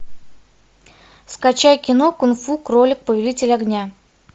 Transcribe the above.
скачай кино кунг фу кролик повелитель огня